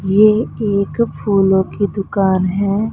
ये एक फूलों की दुकान है।